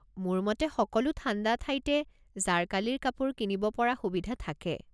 মোৰ মতে সকলো ঠাণ্ডা ঠাইতে জাৰকালিৰ কাপোৰ কিনিব পৰা সুবিধা থাকে।